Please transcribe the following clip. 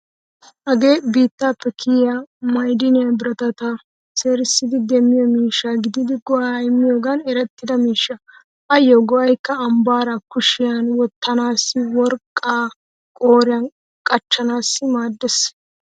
Hagee biittaappe kiyyiya maydine biratata seerissidi demmiyo miishsha gididi go'aa immiyogan erettida miishsha. Ayyo go'aykka ambbaare kushiyan wottanaassi, worqqaykka qooriyan qachchanaassi maaddeees.